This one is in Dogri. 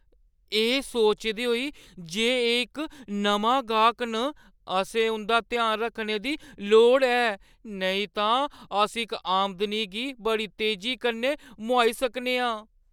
एह् सोचदे होई जे एह् इक नमां गाह्क न, असें उंʼदा ध्यान रक्खने दी लोड़ ऐ नेईं तां अस इस आमदनी गी बड़ी तेजी कन्नै मोहाई सकने आं।